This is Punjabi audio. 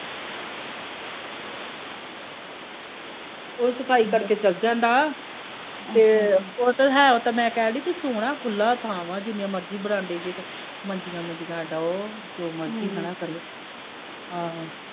ਉਹ ਸਫਾਈ ਕਰਕੇ ਚੱਲ ਜਾਂਦਾ ਤੇ ਉਹ ਤੇ ਮੈਂ ਕਹਿਣ ਦੀ ਕਿ ਸੋਹਣਾ ਖੁੱਲਾਂ ਥਾਂ ਹੈ ਜਿੰਨੀਆਂ ਮਰਜੀ ਬਰਾਂਡੇ ਚ ਮੰਜੀਆ ਮੁੰਜੀਆਂ ਡਾਹੋ ਜੋ ਮਰਜੀ ਖੜਾ ਕਰੋ ਆਹੋ।।